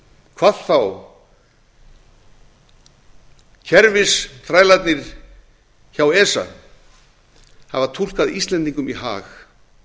hvað þá kerfisþrælarnir hjá esa hafa túlkað íslendingum í hag